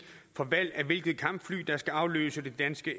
for valget af hvilket kampfly der skal afløse de danske